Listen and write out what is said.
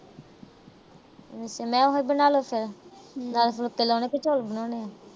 ਮੈਂ ਕਿਹਾ ਉਹੀ ਬਣਾ ਲੋ ਫਿਰ। ਨਾਲ ਫੂਲਕੇ ਬਣਾਉਣੇ ਕਿ ਚੌਲ ਬਣਾਉਣੇ ਆ।